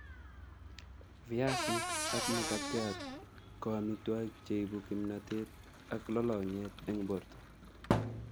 Viasik ak makatiat ko amitwokik cheibu kimnatet ak lolongyet eng borto